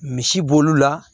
Misi bo olu la